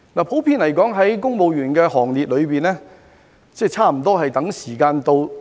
普遍而言，在公務員的行列中，差不多都在等時間到。